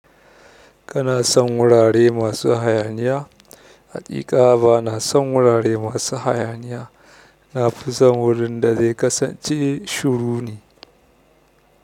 Kana son wurare masu hayaniya? Haƙiƙa bana son wurare masu hayaniya. Na fi son wurin da zai kasance shuru ne.